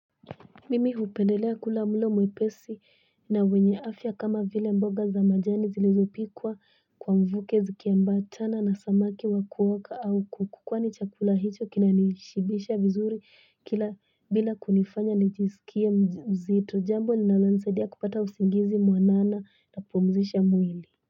Mimi hupendelea kula mlo mwepesi na wenye afya kama vile mboga za majani zilizopikwa kwa mvuke zikiambatana na samaki wakuoka au kuku kwani chakula hicho kinanishibisha vizuri kila bila kunifanya nijisikie mzito jambo ninalonisaidia kupata usingizi mwanana na kupumzisha mwili.